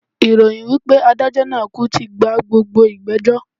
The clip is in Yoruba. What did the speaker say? Ìròyìn wipe adájó naa kú tí gba gbogbo ìgbẹ̀jọ́